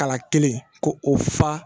Kala kelen ko o fa